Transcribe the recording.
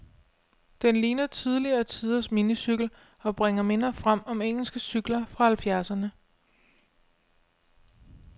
Den ligner tidligere tiders minicykel, og bringer minder frem om engelske cykler fra halvfjerdserne.